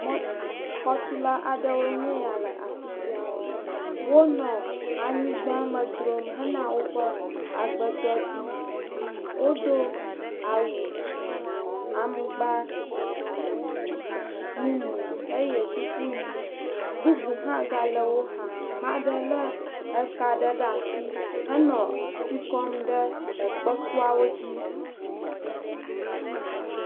Xɔtula aɖewoe nye ya le afi sia. Wonɔ anyigba me dzrom hena woƒe agbedɔ dziyiyi. Wodo awu aŋgba mumu eye kuku ʋɛ̃, bubu hã gale wo xa. Mea ɖe lé eka ɖe asi henɔ tsi kɔm ɖe ekpekuawo dzi.